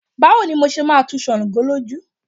Báwo ni mo ṣe máa tu ṣàǹgó lójú.